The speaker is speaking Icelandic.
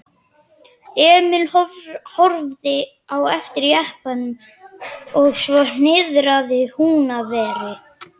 Emil horfði á eftir jeppanum og svo niðrað Húnaveri.